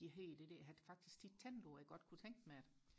de hedder det der jeg har faktisk tit tænkt på at jeg godt kunne tænke mig det